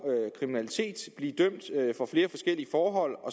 kriminalitet blive dømt for